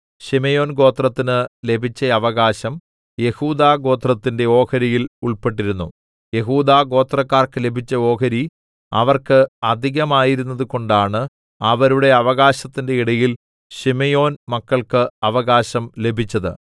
ശിമയോൻ ഗോത്രത്തിന് ലഭിച്ച അവകാശം യെഹൂദാ ഗോത്രത്തിന്റെ ഓഹരിയിൽ ഉൾപ്പെട്ടിരുന്നു യെഹൂദാ ഗോത്രക്കാർക്ക് ലഭിച്ച ഓഹരി അവർക്ക് അധികമായിരുന്നതുകൊണ്ടാണ് അവരുടെ അവകാശത്തിന്റെ ഇടയിൽ ശിമെയോൻമക്കൾക്ക് അവകാശം ലഭിച്ചത്